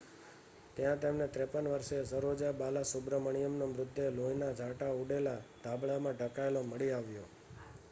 ત્યાં તેમને 53 વર્ષીય સરોજા બાલાસુબ્રમણિયનનો મૃતદેહ લોહીનાં છાંટા ઊડેલ ધાબળામાં ઢંકાયેલ મળી આવ્યો